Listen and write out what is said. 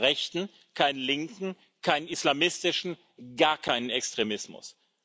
Keinen rechten, keinen linken, keinen islamistischen, gar keinen Extremismus.